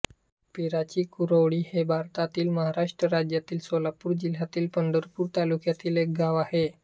पिराचीकुरोळी हे भारतातील महाराष्ट्र राज्यातील सोलापूर जिल्ह्यातील पंढरपूर तालुक्यातील एक गाव आहे